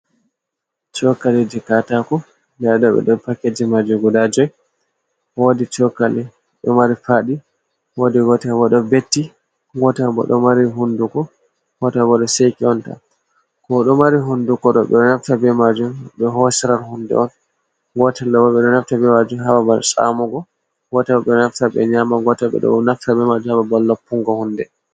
Chokali je katako, ndaɗo be ɗo pakeje majum guda jowi, wodi chokali ɗo mari faɗi wodi gotel bo ɗo betti, gotel bo ɗo mari hunduko, ngota bo ɗo seki'ontan, ko ɗo mari hunduko ɗo ɓeɗo naftira be majum ɓe hosira hunde on, gotel ɗobo ɓe ɗo naftira'on ha babal tsamugo, gotel bo ɓe ɗo naftira be nyamo, gotel bo ɓe ɗon naftira be majum ha babal loppungo hunde.